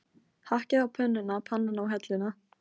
Hakkið á pönnuna, pannan á helluna.